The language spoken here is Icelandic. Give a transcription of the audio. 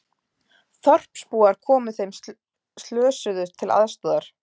Þorpsbúar komu þeim slösuðust til aðstoðar